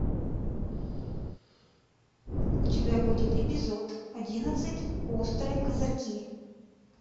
у тебя будет эпизод одиннадцать острые козырьки